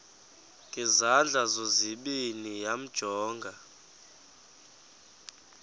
ngezandla zozibini yamjonga